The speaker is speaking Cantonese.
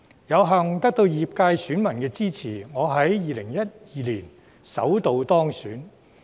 有幸得到業界選民的支持，我在2012年首度當選。